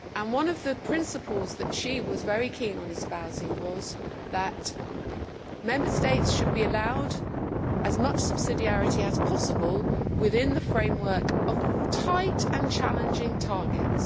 One of the principles that she was very keen on espousing was that Member States should be allowed as much subsidiarity as possible within the framework of tight and challenging targets.